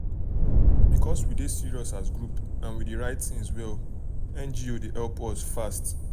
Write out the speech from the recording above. because we dey serious as group and we dey write things well ngo dey help us fast.